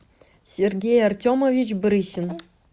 сергей артемович брысин